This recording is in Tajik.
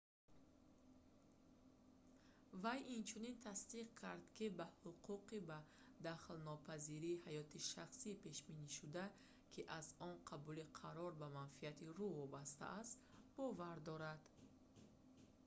вай инчунин тасдиқ кард ки ба ҳуқуқи ба дахолатнопазирии ҳаёти шахсӣ пешбинишуда ки аз он қабули қарор ба манфиати ру вобаста аст бовар дорад